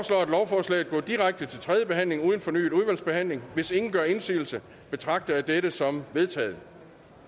lovforslaget går direkte til tredje behandling uden fornyet udvalgsbehandling hvis ingen gør indsigelse betragter jeg dette som vedtaget